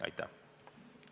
Aitäh!